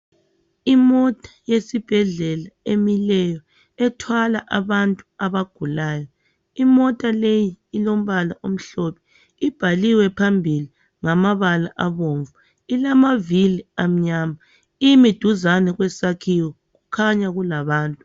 imota yesibhedlela emileyo ethwala abantu abagulayo imota leyi ilombala omhlophe ibhaliwe phambili ngamabala abomvu ilamavili amnyama imi duzane kwesakhiwo kukhanya kulabantu